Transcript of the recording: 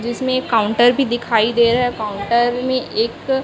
जिसमें एक काउंटर भी दिखाई दे रहा है काउंटर में एक--